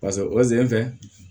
oze in fɛ